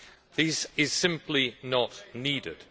This is simply not needed.